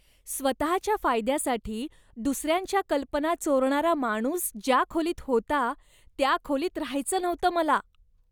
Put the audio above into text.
स्वतःच्या फायद्यासाठी दुसऱ्यांच्या कल्पना चोरणारा माणूस ज्या खोलीत होता त्या खोलीत राहायचं नव्हतं मला.